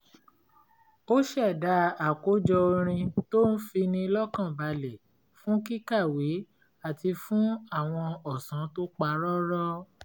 ó ṣẹ̀dá àkójọ orin tó ń fini lọ́kànbalẹ̀ fún kíkàwé àti fún àwọn ọ̀sán tó pa rọ́rọ́